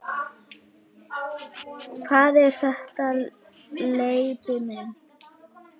Hvað er þetta, Leibbi minn.